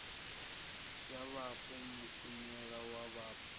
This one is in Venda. ya vhapo mushumela wa vhapo